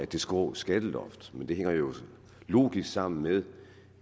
det skrå skatteloft men det hænger jo logisk sammen med